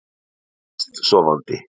Líður best sofandi.